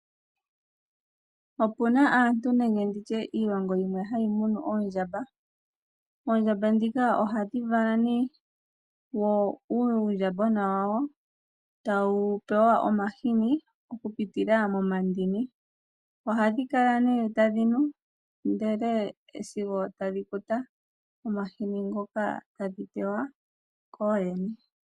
Opuna aantu nenge nditye iilongo yimwe hayi munu oondjamba. Oondjamba ndhika ohadhi gandja oluvalo wo uundjambagona tawu pewa omahini okupitila momandini. Ohadhi kala nee tadhi nu ndele sigo tadhi kuta omahini ngoka tadhi pewa kooyene.